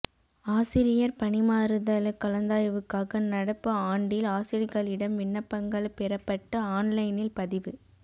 ஆசிரியர் பணிமாறுதல் கலந்தாய்வுக்காக நடப்பு ஆண்டில் ஆசிரியர்களிடம் விண்ணப்பங்கள் பெறப்பட்டு ஆன்லைனில் பதிவு